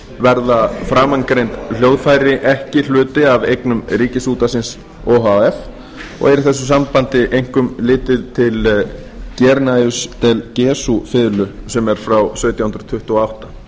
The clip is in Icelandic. verða framangreind hljóðfæri ekki hluti af eignum ríkisútvarpsins o h f og er í þessu sambandi einkum litið til guarnerius del gesu fiðlunnar sem er frá sautján hundruð tuttugu og átta